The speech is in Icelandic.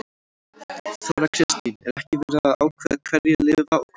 Þóra Kristín: Er ekki verið að ákveða hverjir lifa og hverjir deyja?